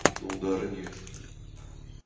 но удара не